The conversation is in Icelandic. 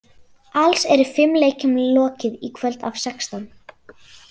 Alls eru fimm leikjum lokið í kvöld af sextán.